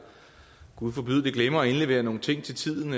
gud forbyde det glemmer at indlevere nogle ting til tiden